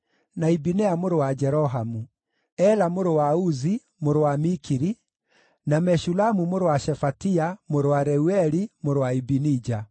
na Ibineia mũrũ wa Jerohamu; Ela mũrũ wa Uzi, mũrũ wa Mikiri; na Meshulamu mũrũ wa Shefatia, mũrũ wa Reueli, mũrũ wa Ibinija.